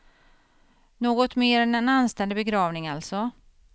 Något mer än en anständig begravning alltså.